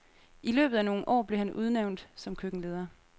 I løbet af nogle år blev han udnævnt som køkkenleder.